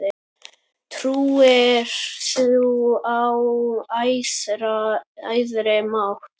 Trúir þú á æðri mátt?